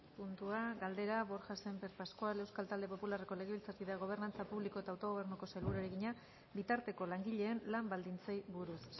puntua galdera borja sémper pascual euskal talde popularreko legebiltzarkideak gobernantza publiko eta autogobernuko sailburuari egina bitarteko langileen lan baldintzei buruz